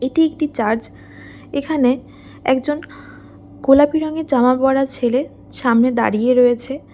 এটি একটি চার্চ এখানে একজন গোলাপি রঙের জামা পড়া ছেলে সামনে দাঁড়িয়ে রয়েছে --